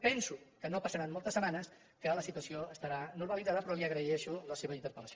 penso que no passaran moltes setmanes que la situació estarà normalitzada però li agraeixo la seva interpellació